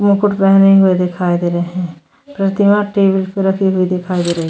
मुकुट पहने हुए दिखाई दे रहे हैं प्रतिमा टेबल पे रखी हुई दिखाई दे रही है।